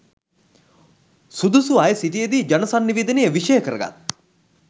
සුදුසු අයසිටිය දී ජනසන්නිවේදනය විෂය කරගත්